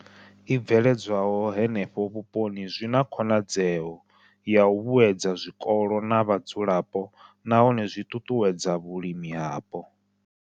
I bveledzwaho henefho vhuponi zwi na khonadzeo ya u vhuedza zwikolo na vhadzulapo nahone zwi ṱuṱuwedza vhulimi hapo.